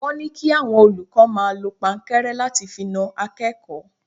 Wọ́n ní kí àwọn olùkọ́ máa lọ pankẹ́rẹ́ láti fi na akẹ́kọ̀ọ́.